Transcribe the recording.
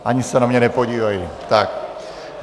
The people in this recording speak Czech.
Ani se na mě nepodívají.